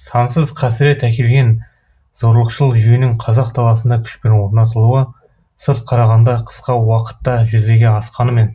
сансыз қасірет әкелген зорлықшыл жүйенің қазақ даласында күшпен орнатылуы сырт қарағанда қысқа уақытта жүзеге асқанымен